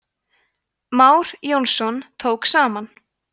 már jónsson tók saman